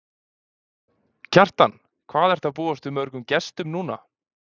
Kjartan: Hvað ertu að búast við mörgum gestum núna?